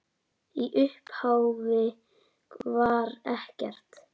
Í upphafi var ekkert.